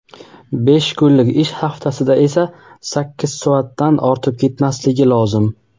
besh kunlik ish haftasida esa sakkiz soatdan ortib ketmasligi lozim.